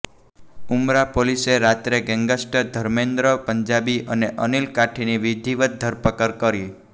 ઉમરા પોલીસે રાત્રે ગેંગસ્ટર ધર્મેન્દ્ર પંજાબી અને અનિલ કાઠીની વિધિવત ધરપકડ કરી